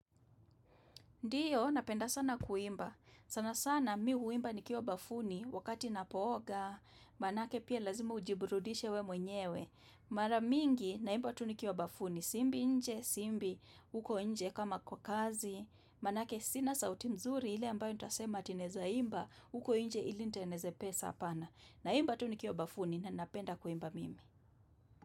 Ndiyo napenda sana kuimba. Sana sana mimi huimba nikiwa bafuni wakati napooga. Manake pia lazima ujiburudishe we mwenyewe. Mara mingi naimba tu nikiwa bafuni si imbi nje si imbi huko nje kama kwa kazi. Manake sina sauti mzuri ile ambayo utasema ati naeza imba uko nje ilinitengeneze pesa apana. Naimba tu nikiwa bafuni na napenda kuimba mimi.